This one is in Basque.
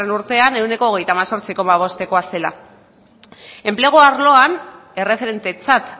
urtean ehuneko hogeita hemezortzi koma bostekoa zela enplegu arloan erreferentetzat